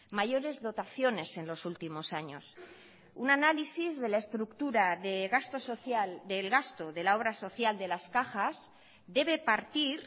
mayores dotaciones en los últimos años un análisis de la estructura de gasto social del gasto de la obra social de las cajas debe partir